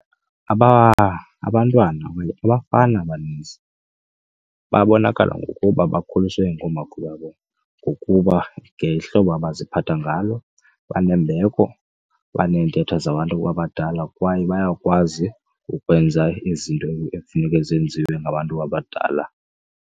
Abantwana abafana abaninzi babonakala ngokuba bakhuliswe ngoomakhulu babo ngokuba ngehlobo abaziphatha ngalo banembeko, baneentetho zabantu abadala kwaye bayakwazi ukwenza izinto ekufuneke zenziwe ngabantu abadala.